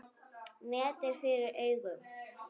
Net er fyrir augum.